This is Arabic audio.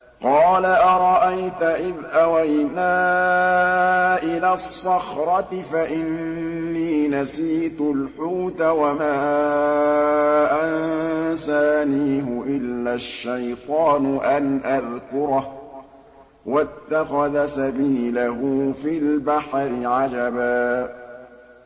قَالَ أَرَأَيْتَ إِذْ أَوَيْنَا إِلَى الصَّخْرَةِ فَإِنِّي نَسِيتُ الْحُوتَ وَمَا أَنسَانِيهُ إِلَّا الشَّيْطَانُ أَنْ أَذْكُرَهُ ۚ وَاتَّخَذَ سَبِيلَهُ فِي الْبَحْرِ عَجَبًا